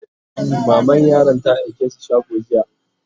maman yaran ta aike su shago jiya